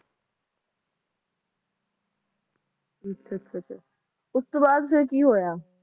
ਅੱਛਾ ਅੱਛਾ ਅੱਛਾ ਉਸ ਤੋਂ ਬਾਅਦ ਫਿਰ ਕਿ ਹੋਇਆ